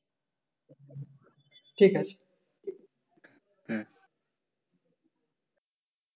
ঠিক আছে